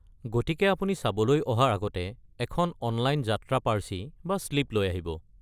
গতিকে আপুনি চাবলৈ অহাৰ আগতে এখন অনলাইন যাত্ৰা পাৰ্চি বা শ্লিপ লৈ আহিব।